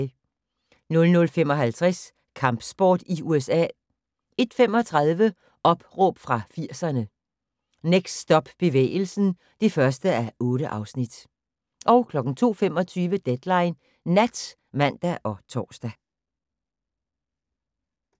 00:55: Kampsport i USA 01:35: Opråb fra 80'erne - Next Stop bevægelsen (1:8) 02:25: Deadline Nat (man og tor)